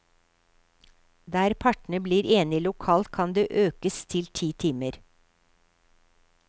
Der partene blir enige lokalt kan det økes til ti timer.